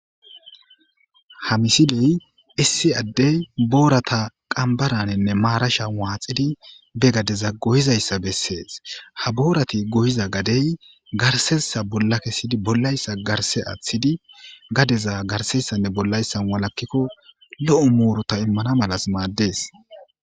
Ha misiley issi addey boorata qambaraninne maarasha waaxidi be gadeza goyizayssa bessees ha boorati goyiza gadey garsessa bolla kessidi bollayssa garse aaththidi gadeza garsessanne bollayssa walakkikko lo7o muurota immana malas maaddees.